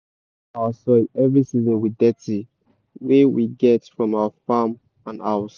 we dey feed our soil every season with dirty wey we get from our farm and huz.